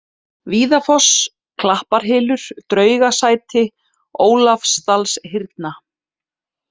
Víðafoss, Klapparhylur, Draugasæti, Ólafsdalshyrna